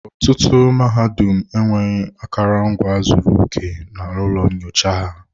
Ọtụtụ mahadum enweghị akụrụngwa zuru oke na ụlọ nyocha ha.